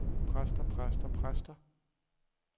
præster præster præster